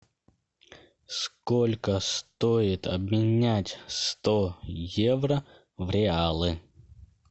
сколько стоит обменять сто евро в реалы